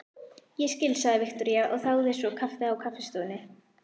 Ég skil, sagði Viktoría og þáði svo kaffi á kaffistofunni.